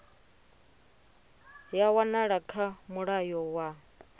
ya wanala kha mulayo wa